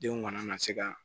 Denw kana na se ka